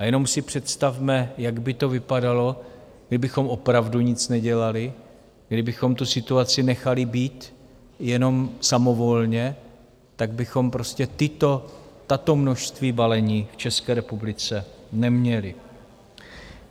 A jenom si představme, jak by to vypadalo, kdybychom opravdu nic nedělali, kdybychom tu situaci nechali být jenom samovolně, tak bychom prostě tato množství balení v České republice neměli.